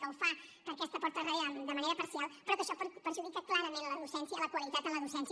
que ho fa per aquesta porta de darrere de manera parcial però això perjudica clarament la docència la qualitat en la docència